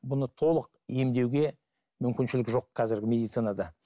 бұны толық емдеуге мүмкіншілік жоқ қазіргі медицинада